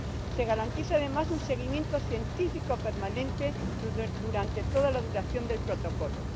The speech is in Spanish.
se garantiza, además, un seguimiento científico permanente durante toda la duración del Protocolo